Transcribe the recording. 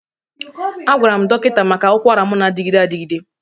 Agwara m dọkịta maka ụkwara m na-adịgide adịgide.